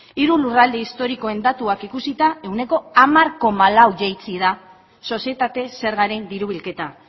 hiru lurralde historikoen datuak ikusita ehuneko hamar koma lau jaitsi da sozietate zergaren diru bilketa